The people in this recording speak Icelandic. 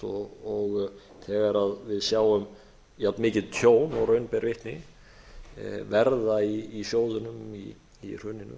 gallalaust og þegar við sjáum jafnmikið tjón og raun ber vitni verða í sjóðunum í hruninu